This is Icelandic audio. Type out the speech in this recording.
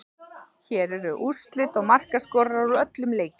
Hér eru úrslit og markaskorarar úr öllum leikjunum: